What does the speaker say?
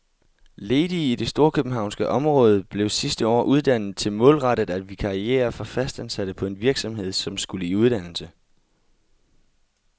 Ledige i det storkøbenhavnske område blev sidste år uddannet til målrettet at vikariere for fastansatte på en virksomhed, som skulle i uddannelse.